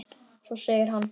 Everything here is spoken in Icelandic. Svo segir hann.